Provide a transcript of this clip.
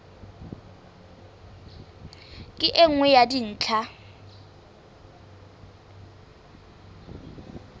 ke e nngwe ya dintlha